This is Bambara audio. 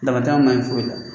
Damatɛnɛ ma ɲi foyi la.